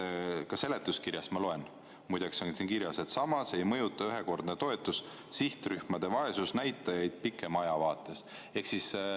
Ka seletuskirjas on muide kirjas, et samas ei mõjuta ühekordne toetus sihtrühmade vaesusnäitajaid pikema aja vaates.